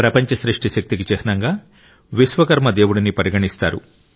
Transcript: ప్రపంచ సృష్టి శక్తికి చిహ్నంగా విశ్వకర్మ దేవుడిని పరిగణిస్తారు